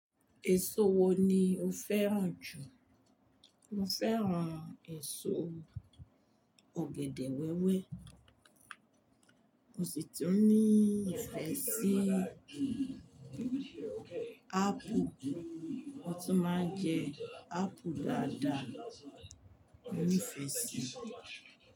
Èso wo ni o fẹ́ràn jù? Mo fẹ́ràn èso ọ̀gẹ̀dẹ̀ wẹ́wẹ́. Mo sì tún ní ìfẹ́sí, apple. Mo tún máa ń jẹ apple dáadáa, óní fẹ̀si.